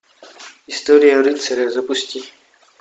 история рыцаря запусти